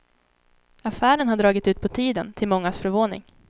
Affären har dragit ut på tiden, till mångas förvåning.